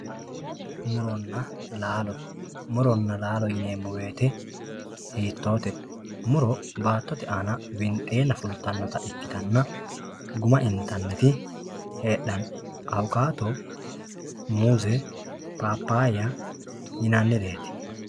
muronna laalo muronna laaalo yineemmo woyte hiitoote muro baattote aana winxeenna fultannota ikkitanna guma intanniri heedhanno awukaato muuze paapayya yinannireeti